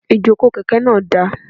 Ìjókòó kèké náà dáa